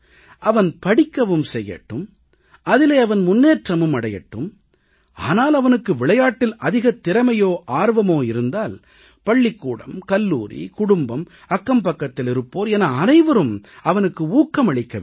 அவன் படிக்கவும் செய்யட்டும் அதிலே அவன் முன்னேற்றமும் அடையட்டும் ஆனால் அவனுக்கு விளையாட்டில் அதிகத் திறமையோ ஆர்வமோ இருந்தால் பள்ளிக்கூடம் கல்லூரி குடும்பம் அக்கம்பக்கத்திலிருப்போர் என அனைவரும் அவனுக்கு ஊக்கமளிக்க வேண்டும்